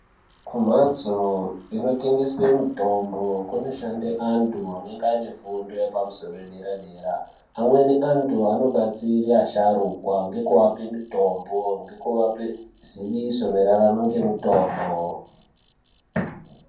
Kumhatso inotengeswe mitombo kunoda antu anenge anefundo yepamusoro, padera-dera. Amweni antu anodetsere asharukwa ngekuape mitombo, ngekuvape ziviso maererano ngemutombo.